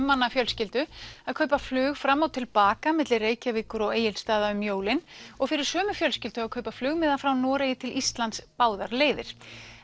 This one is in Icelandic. manna fjölskyldu að kaupa flug fram og til baka milli Reykjavíkur og Egilsstaða um jólin og fyrir sömu fjölskyldu að kaupa flugmiða frá Noregi til Íslands báðar leiðir